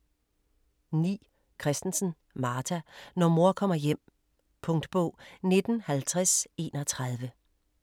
9. Christensen, Martha: Når mor kommer hjem Punktbog 195031